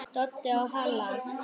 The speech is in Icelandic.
Doddi og Halla!